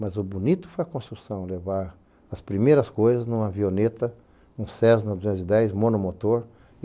Mas o bonito foi a construção, levar as primeiras coisas numa avioneta, um Cessna duzentos e dez monomotor.